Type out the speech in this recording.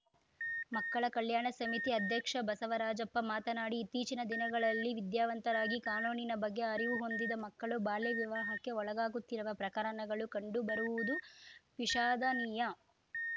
ಮಕ್ಕಳ ಕಲ್ಯಾಣ ಸಮಿತಿ ಅಧ್ಯಕ್ಷ ಬಸವರಾಜಪ್ಪ ಮಾತನಾಡಿ ಇತ್ತೀಚಿನ ದಿನಗಳಲ್ಲಿ ವಿದ್ಯಾವಂತರಾಗಿ ಕಾನೂನಿನ ಬಗ್ಗೆ ಅರಿವು ಹೊಂದಿದ ಮಕ್ಕಳು ಬಾಲ್ಯ ವಿವಾಹಕ್ಕೆ ಒಳಗಾಗುತ್ತಿರುವ ಪ್ರಕರಣಗಳು ಕಂಡು ಬರುತ್ತಿರುವುದು ವಿಷಾದನೀಯ